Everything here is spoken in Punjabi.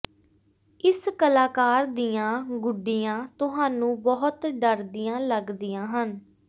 ਇਸ ਕਲਾਕਾਰ ਦੀਆਂ ਗੁੱਡੀਆਂ ਤੁਹਾਨੂੰ ਬਹੁਤ ਡਰਦੀਆਂ ਲੱਗਦੀਆਂ ਹਨ